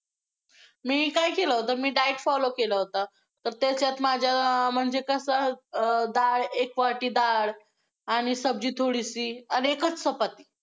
मी काय केलं होतं, मी diet follow केलं होतं, तर त्याच्यात माझं~ म्हणजे कसं~ अं डाळ, एक वाटी डाळ आणि सब्जी थोडीशी आणि एकच चपाती.